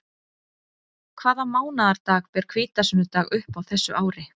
Hvaða mánaðardag ber hvítasunnudag upp á þessu ári?